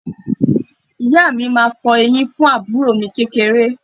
Ìyá mi máa fọ eyín fún àbúrò mi kékeré